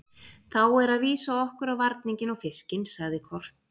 Þá er að vísa okkur á varninginn og fiskinn, sagði Kort.